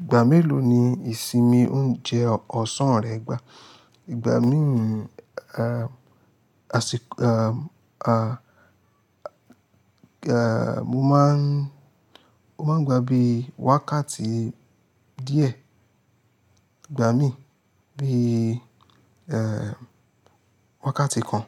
Ìgbà mélòó ni ìsinmi ń jẹ ọ̀sán rẹ gbà? Ìgbà míì, ah, a si-- ah, mo máa ń, mo máa ń gbà bí i wákàtí díẹ̀, ìgbà míì bí i, eh, wákàtí kan.